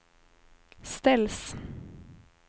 ställs